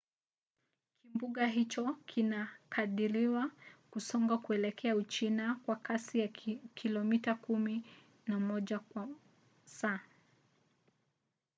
kimbunga hicho kinakadiriwa kusonga kuelekea uchina kwa kasi ya kilomita kumi na moja kwa saa